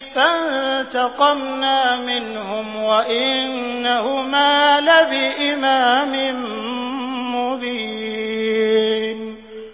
فَانتَقَمْنَا مِنْهُمْ وَإِنَّهُمَا لَبِإِمَامٍ مُّبِينٍ